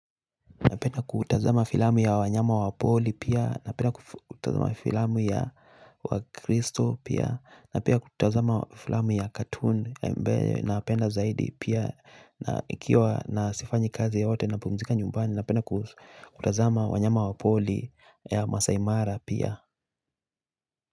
Napenda kutazama filamu ya wanyama wa pori pia, napenda kutazama filamu ya crystal pia, napenda kutazama filamu ya cartoon, napenda zaidi pia, na ikiwa na sifanyi kazi yoyote napumzika nyumbani napenda kutazama wanyama wa pori ya masaimara pia.